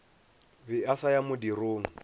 be a sa ya modirong